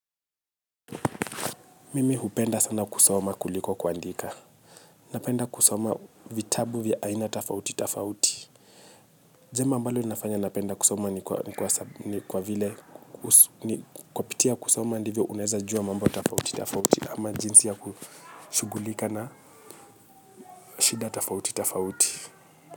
Mimi hupenda sana kusoma kuliko kuandika. Napenda kusoma vitabu vya aina tafauti tafauti. Jambo ambalo linafanya napenda kusoma ni kwa vile kupitia kusoma ndivyo unaeza jua mambo tafauti tafauti ama jinsi ya kushugulika na shida tafauti tafauti.